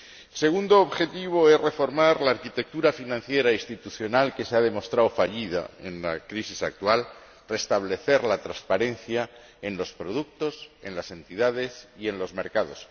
El segundo objetivo es reformar la arquitectura financiera institucional que se ha demostrado fallida en la crisis actual y restablecer la transparencia en los productos, en las entidades y en los mercados.